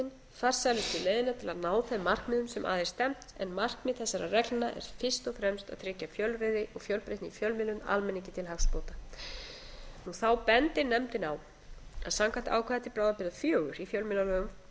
telur nefndin farsælustu leiðina til að ná þeim markmiðum sem að er stefnt en markmið þessara reglna er fyrst og fremst að tryggja fjölræði og fjölbreytni í fjölmiðlun almenningi til hagsbóta þá bendir nefndin á að samkvæmt ákvæði til bráðabirgða fjögur í fjölmiðlalögum númer þrjátíu og átta tvö þúsund